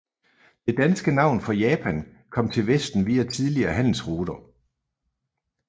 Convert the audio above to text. Det danske navn for Japan kom til vesten via tidlige handelsruter